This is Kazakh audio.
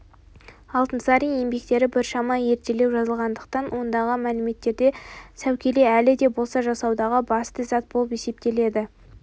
алтынсарин еңбектері біршама ертелеу жазылғандықтан ондағы мәліметтерде сәукеле әлі де болса жасаудағы басты зат болып есептеледі